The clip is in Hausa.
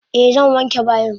Eh zan wanke bayin.